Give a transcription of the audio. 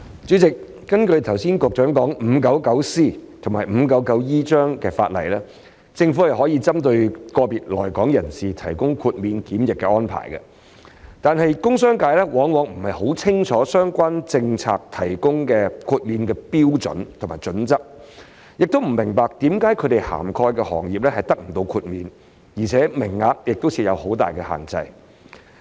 主席，根據局長剛才提及的第 599C 章及第 599E 章法例，政府可以針對個別來港人士作出豁免檢疫的安排，但工商界往往不甚清楚在相關政策下提供豁免的標準及準則，亦不明白為何他們涵蓋的行業不獲豁免，而且名額亦有很大限制。